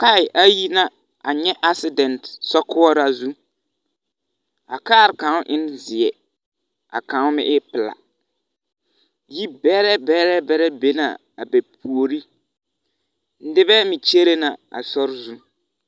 Kaaɛ ayi na a nyɛ asedɛnt sɔkoɔraa zũ. A kaare kaŋ en zeɛ, a kaŋ meŋ e pelaa. Yibɛrɛ bɛrɛ bɛrɛ be na a bɛ puori. Nebɛ meŋ kyere na a sori zu.